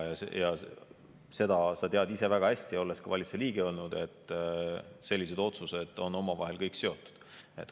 Ja seda sa tead ise väga hästi, olles ka valitsuse liige olnud, et sellised otsused on omavahel kõik seotud.